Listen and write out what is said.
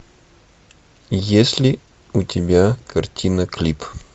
есть ли у тебя картина клип